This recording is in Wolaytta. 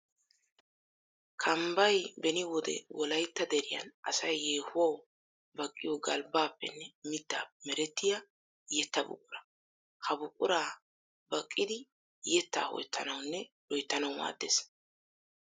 Kambbay beni wode wolaytta deriyan asay yeehuwawu baqqiyo galbbappenne mittappe merettiya yetta buqura. Ha buqura baqqiddi yetta ho'ettanawunne loyttanawu maadetettes.